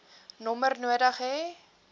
nommer nodig hê